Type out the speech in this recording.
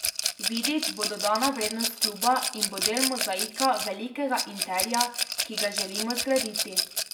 Vidić bo dodana vrednost kluba in bo del mozaika velikega Interja, ki ga želimo zgraditi.